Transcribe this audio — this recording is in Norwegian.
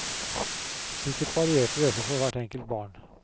Sikkert varierte dette for hvert enkelt barn.